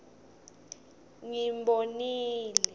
ngimbonile